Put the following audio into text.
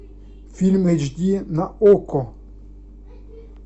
фильм эйч ди на окко